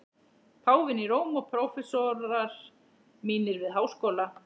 Páfinn í Róm og prófessorar mínir við Háskóla